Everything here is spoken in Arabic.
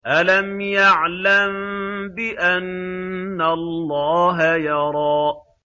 أَلَمْ يَعْلَم بِأَنَّ اللَّهَ يَرَىٰ